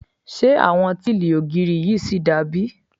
Ṣé àwọn tíìlì ògiri yìí ṣì da bí?